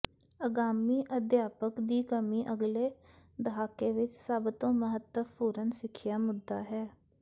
ਆਗਾਮੀ ਅਧਿਆਪਕ ਦੀ ਕਮੀ ਅਗਲੇ ਦਹਾਕੇ ਵਿਚ ਸਭ ਤੋਂ ਮਹੱਤਵਪੂਰਨ ਸਿੱਖਿਆ ਮੁੱਦਾ ਹੈ